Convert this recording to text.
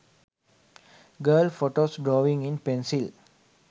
girl photos drawing in pencil